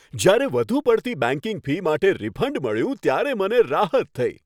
જ્યારે વધુ પડતી બેંકિંગ ફી માટે રિફંડ મળ્યું ત્યારે મને રાહત થઈ.